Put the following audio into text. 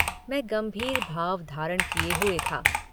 मैं गंभीर भाव धारण किये हुए था।